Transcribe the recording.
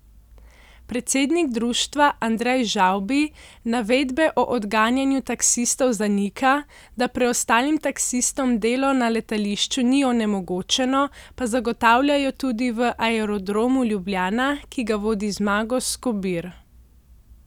Predsednik društva Andrej Žavbi navedbe o odganjanju taksistov zanika, da preostalim taksistom delo na letališču ni onemogočeno, pa zagotavljajo tudi v Aerodromu Ljubljana, ki ga vodi Zmago Skobir.